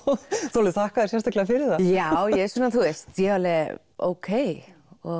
þú þakkaðir sérstaklega fyrir það já þú veist ókei